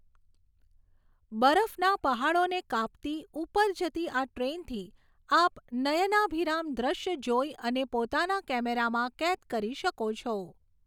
બરફના પહાડોને કાપતી ઊપર જતી આ ટ્રેનથી આપ નયનાભિરામ દૃશ્ય જોઈ અને પોતાના કેમેરામાં કેદ કરી શકો છો.